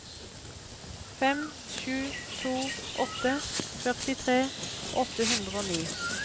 fem sju to åtte førtitre åtte hundre og ni